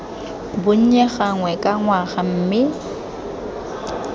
bonnye gangwe ka ngwaga mme